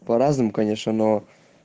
по-разному конечно но